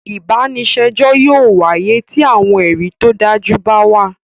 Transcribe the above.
Ìbànisẹjọ yóò wàye ti awọn ẹri to daju ba wa